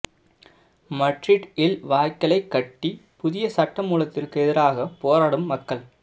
Madrid இல் வாய்க்களைக் கட்டி புதிய சட்டமூலத்திற்கு எதிராகப் போராடும் மக்கள்